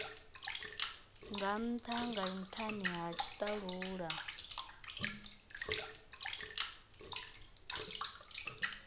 ntha nga nthani ha tshitalula